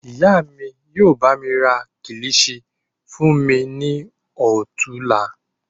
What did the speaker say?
Ìyá mí yóò bá mi ra kilichi fún mi ní ọ̀tuùla.